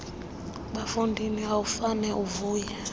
bafondini awufane uvuya